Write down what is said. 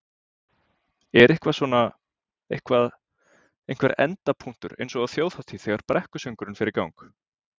Er eitthvað svona, eitthvað, einhver endapunktur eins og á Þjóðhátíð þegar brekkusöngurinn fer í gang?